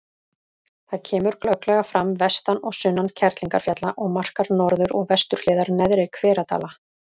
Það kemur glögglega fram vestan og sunnan Kerlingarfjalla og markar norður- og vesturhliðar Neðri-Hveradala.